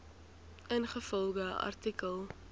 ingevolge artikel